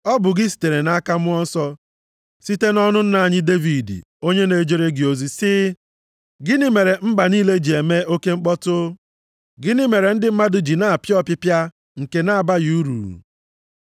Ọ bụ gị sitere nʼaka Mmụọ Nsọ site nʼọnụ nna anyị Devid, onye na-ejere gị ozi, sị: “ ‘Gịnị mere mba niile ji eme oke mkpọtụ? Gịnị mere ndị mmadụ ji na-apịa ọpịpịa nke na-abaghị uru?